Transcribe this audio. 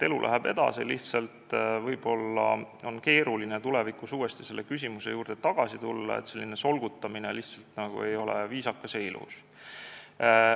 Elu läheb edasi, lihtsalt tulevikus võib olla keeruline uuesti selle küsimuse juurde tagasi tulla, selline solgutamine lihtsalt ei ole viisakas ja ilus.